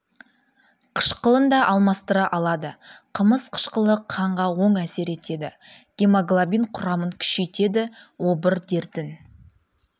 қышқылын да алмастыра алады қымыз қышқылы қанға оң әсер етеді гемоглобин құрамын күшейтеді обыр дертін